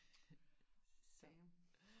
Damn